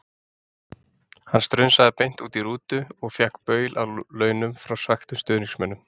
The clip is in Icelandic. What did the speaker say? Hann strunsaði beint út í rútu og fékk baul að launum frá svekktum stuðningsmönnunum.